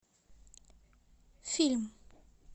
фильм